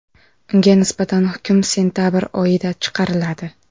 Unga nisbatan hukm sentabr oyida chiqariladi.